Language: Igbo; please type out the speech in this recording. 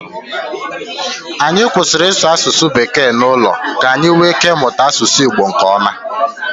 Anyị kwụsịrị ịsụ asụsụ bekee n'ụlọ ka anyị nwee ike ịmụta asụsụ Igbo nkeọma.